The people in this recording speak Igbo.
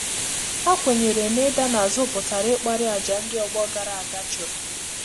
Há kwènyèrè nà ídà n’ázú pụ̀tùrà ịkpàrị́ àjà ndị́ ọgbọ gàrà ága chụ́rụ̀.